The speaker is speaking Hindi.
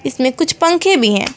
इसमें कुछ पंखे भी हैं।